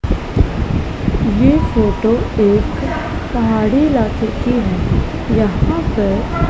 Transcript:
ये फोटो एक पहाड़ी इलाके की है यहां पर--